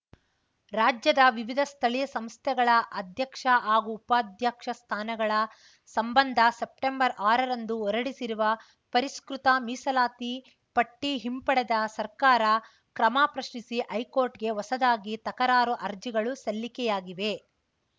ರಾಜ್ಯದ ವಿವಿಧ ಸ್ಥಳೀಯ ಸಂಸ್ಥೆಗಳ ಅಧ್ಯಕ್ಷ ಹಾಗೂ ಉಪಾಧ್ಯಕ್ಷ ಸ್ಥಾನಗಳ ಸಂಬಂಧ ಸೆಸೆಪ್ಟೆಂಬರ್ಆರರಂದು ಹೊರಡಿಸಿರುವ ಪರಿಷ್ಕೃತ ಮೀಸಲಾತಿ ಪಟ್ಟಿಹಿಂಪಡೆದ ಸರ್ಕಾರ ಕ್ರಮ ಪ್ರಶ್ನಿಸಿ ಹೈಕೋರ್ಟ್‌ಗೆ ಹೊಸದಾಗಿ ತಕರಾರು ಅರ್ಜಿಗಳು ಸಲ್ಲಿಕೆಯಾಗಿವೆ